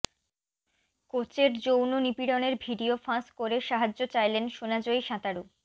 কোচের যৌন নিপীড়নের ভিডিও ফাঁস করে সাহায্য চাইলেন সোনাজয়ী সাঁতারু